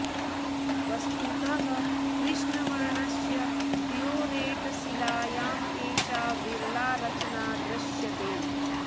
वस्तुतः कृष्णवर्णस्य डयोरैट् शिलायाम् एषा विरला रचना दृश्यते